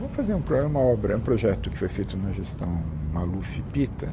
Vamos fazer um é uma obra, é um projeto que foi feito na gestão Maluf e Pita.